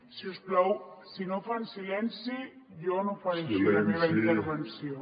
si us plau si no fan silenci jo no faré així la meva intervenció